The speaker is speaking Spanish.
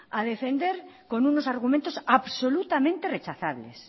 a defender con unos argumentos absolutamente rechazables